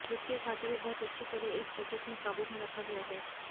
वित्तीय घाटा भी बहुत अच्छी तरह इस बजट में काबू में रखा गया है